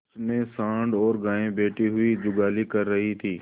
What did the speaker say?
उनमें सॉँड़ और गायें बैठी हुई जुगाली कर रही थी